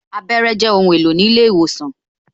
Abẹ́rẹ́ Jẹ ohun èlò ní ilé ìwòsàn